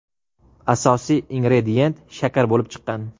Asosiy ingredient shakar bo‘lib chiqqan.